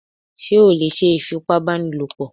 Ṣé o lè ṣe ìfipábánilòpọ̀?